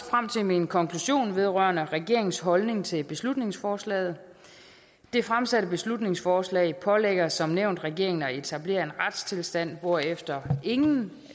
frem til min konklusion vedrørende regeringens holdning til beslutningsforslaget det fremsatte beslutningsforslag pålægger som nævnt regeringen at etablere en retstilstand hvorefter ingen